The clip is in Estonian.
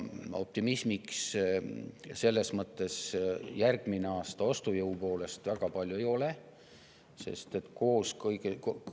Optimismiks järgmisel aastal ostujõu mõttes väga palju ei ole.